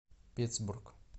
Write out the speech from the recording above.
питтсбург